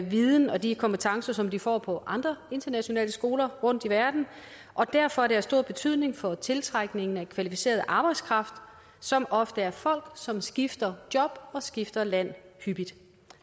viden og de kompetencer som de får på andre internationale skoler rundt i verden og derfor er det af stor betydning for tiltrækningen af kvalificeret arbejdskraft som ofte er folk som skifter job og skifter land hyppigt